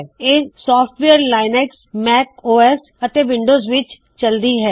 ਇਹ software Linux Mac OS ਅਤੇ Windows ਵਿੱਚ ਚੱਲਦੀ ਹੈ